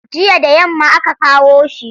Jiya da yamma aka kawo shi.